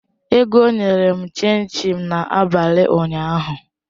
Ego nyere m chin chin n'abalị ụnyaahụ